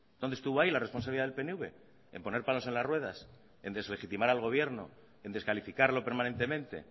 dónde estuvo ahí la responsabilidad del pnv en poner palos en las ruedas en deslegitimar al gobierno en descalificarlo permanentemente